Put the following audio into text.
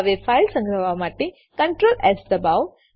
હવે ફાઈલ સંગ્રહવા માટે Ctrls દબાવો